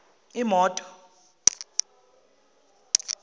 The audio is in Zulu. imoto